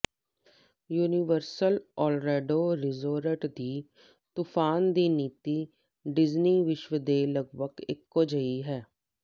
universal Orlando resort ਦੀ ਤੂਫ਼ਾਨ ਦੀ ਨੀਤੀ ਡੀਜ਼ਨੀ ਵਿਸ਼ਵ ਦੇ ਲੱਗਭੱਗ ਇਕੋ ਜਿਹੀ ਹੈ